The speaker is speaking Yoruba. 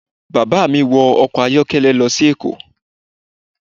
Bàbá mí wọ ọkọ̀ ayọ́kẹ́lẹ́ lọ sí èkó